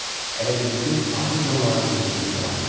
Elə bil bütün ağrı zonaları bir-birinə calanmışdı.